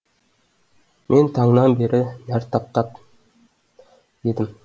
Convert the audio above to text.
мен таңнан бері нәр таптап едім